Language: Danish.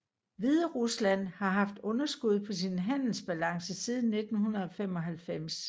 Hviderusland har haft underskud på sin handelsbalance siden 1995